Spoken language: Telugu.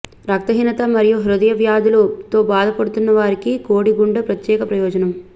రక్తహీనత మరియు హృదయ వ్యాధులు బాధపడుతున్నవారికి కోడి గుండె ప్రత్యేక ప్రయోజనం